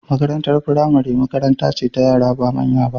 Makarantar firamare makaranta ce ta yara ba manya ba.